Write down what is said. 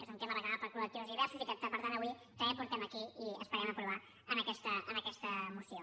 és un tema reclamat per col·lectius diversos i que per tant avui també portem aquí i esperem aprovar en aquesta moció